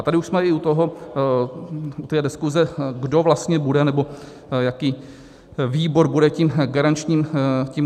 A tady už jsme i u toho, u té diskuze, kdo vlastně bude, nebo jaký výbor bude tím garančním výborem.